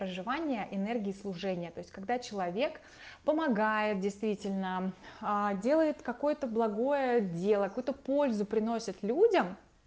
проживание энергии служения то есть когда человек помогает действительно делает какое-то благое дело какой-то пользу приносят людям